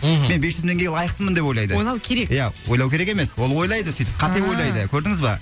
мхм мен бес жүз мың теңгеге лайықпын деп ойлайды ойлау керек иә ойлау керек емес ол ойлайды сөйтіп ааа қате ойлайды көрдіңіз бе